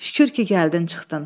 Şükür ki, gəldin çıxdın.